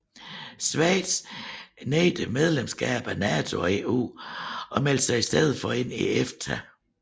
Scweitz nægtede medlemskab af NATO og EU og meldte sig i stedet ind i EFTA